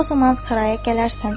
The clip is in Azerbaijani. O zaman Saraya gələrsən.